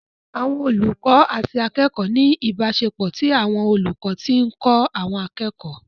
Àwọn olùkọ́ àti akẹ́kọ̀ọ́ ní ìbáṣepọ̀ tí àwọn olùkọ́ ti ń kọ́ àwọn akẹ́kọ̀ọ́